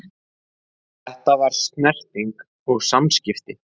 Þetta var snerting og samskipti.